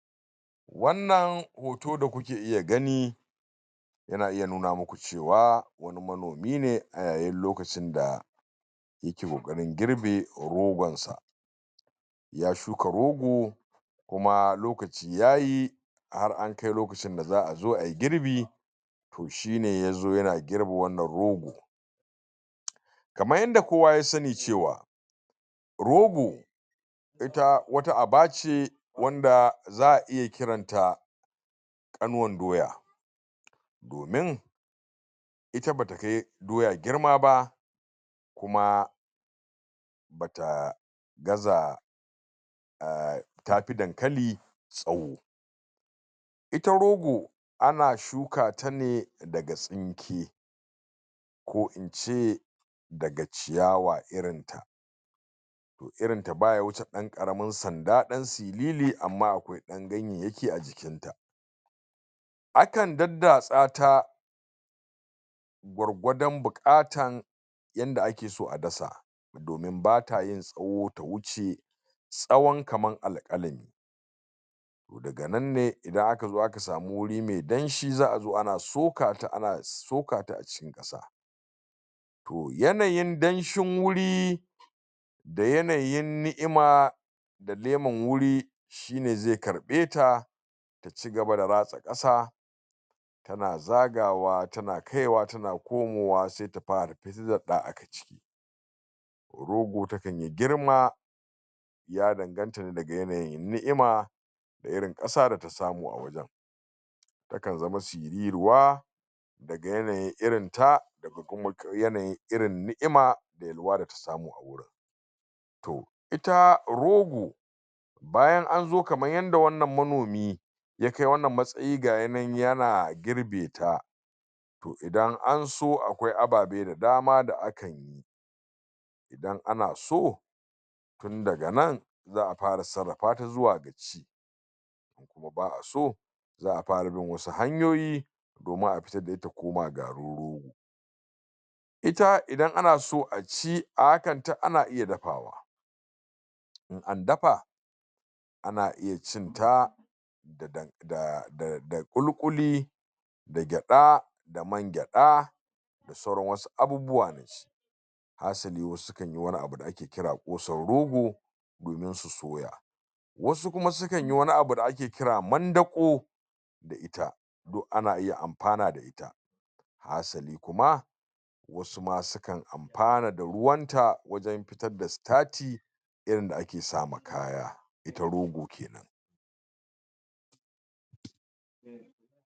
Wannan hoto da kuke iya gani Yana iya nuna muku cewa wani manomi ne a yayin lokacin da yake ƙoƙarin girbe rogonsa ya shuka rogo kuma lokaci ya yi har an kai lokacin da za a zo a yi girbi to shi ne ya zo yana girbe wannan rogo kamar yadda kowa ya sani cewa rogo ita wata aba ce wanda za a iya kiranta ƙanuwan doya domin ita ba ta kai doya girma ba kuma ba ta gaza a tafi dankali tsawo ita rogo ana shuka ta ne daga tsinke ko in ce daga ciyawa irinta. to irinta ba ya wuce ɗan ɗan ƙaramin sanda ɗan siriri amma akwai ɗan ganyayyaki a jikin ta akan daddatsa ta gwargwadon buƙatar yadda ake so a dasa domin ba ta yin tsawo ta wuce tsawon kamar alƙalami. to daga nan ne idan aka zo aka samu wuri mai danshi za a zo ana soka ta ana soka ta a cikin ƙasa to yanayi danshin wuri da yanayin ni'ima da leman wuri shi ne zai karɓe ta ta ci gaba da ratsa ƙasa tana zagawa tana kaiwa tana komawa sai ta fara fitar da ɗa daga ciki rogo takan yi girma ya danganta daga yanayin ni'ima da irin ƙasa da ta samu a wajen. takan zama siriruwa daga yanayin irin ta daga ynayin ni'ima da yalwa da tasamu a wurin. to ita rogo bayan an zo kamar yadda wannan manomi ya kai wannan matsayi ga ya nan yana girbe ta to idan anso to akwai ababe da dama da akan yi idan ana so tun daga nan za a fara sarrafa ta zuwa ga ci in kuma ba aso za a fara bin wasu hanyoyi domin a fitar da ita ta koma garin rogo ita idan ana so a ci a hakan ta ana iya dafawa. in an dafa ana iya cin ta da ƙulu-ƙuli da gyaɗa da man gyaɗa da sauran wasu abubuwa hasali wasu sukan yi wani abu da ake kira ƙosan rogo domin su soya wasu kuma sukan yi wani abu da ake kira mandaƙo da ita duk ana iya amfana da ita hasali kuma wasu ma sukan amfana da ruwanta wajen fitar da sitati irin wanda ake sa ma kaya, ita rogo ke nan.